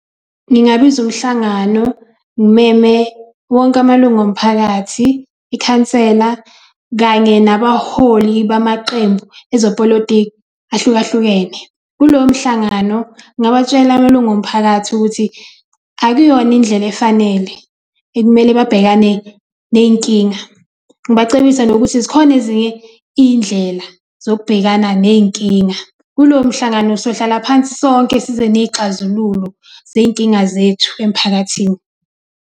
Ngingabiza umhlangano, ngimeme wonke amalungu omphakathi, ikhansela kanye nabaholi bamaqembu ezopolitiki ahlukahlukene. Kuloyo mhlangano ngingawatshela amalungu omphakathi ukuthi akuyona indlela efanele ekumele babhekane ney'nkinga, ngibacebise nokuthi zikhona ezinye iy'ndlela zokubhekana ney'nkinga. Kulowo mhlangano siyohlala phansi sonke size ney'xazululo zey'nkinga zethu emphakathini.